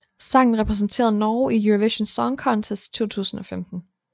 Sangen repræsenterede Norge i Eurovision Song Contest 2015